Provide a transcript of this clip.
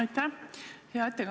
Aitäh!